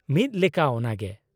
-ᱢᱤᱫ ᱞᱮᱠᱟ ᱚᱱᱟᱜᱮ ᱾